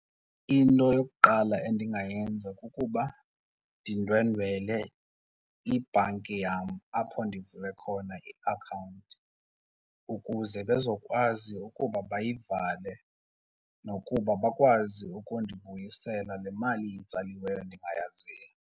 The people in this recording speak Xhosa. Into yokuqala endingayenza kukuba ndindwendwele ibhanki yam apho ndivule khona iakhawunti ukuze bezokwazi ukuba bayivale nokuba bakwazi ukundibuyisele le mali itsaliweyo ndingayaziyo.